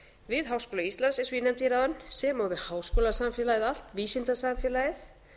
við háskóla íslands eins og ég nefndi hér áðan sem og við háskólasamfélagið allt vísindasamfélagið